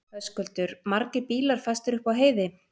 Höskuldur: Margir bílar fastir upp á heiði?